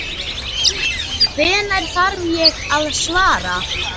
Hvenær þarf ég að svara?